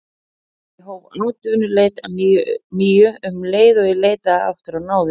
Ég hóf atvinnuleit að nýju um leið og ég leitaði aftur á náðir